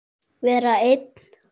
Vera einn?